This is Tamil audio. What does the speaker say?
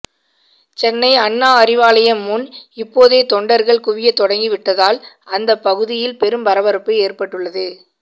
சென்னை அண்ணா அறிவாலயம் முன் இப்போதே தொண்டர்கள் குவிய தொடங்கிவிட்டதால் அந்த பகுதியில் பெரும் பரபரப்பு ஏற்பட்டுள்ளது